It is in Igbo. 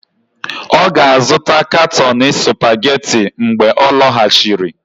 Ọ ga-azụta katọni Supageti mgbe ọ lọghachiri.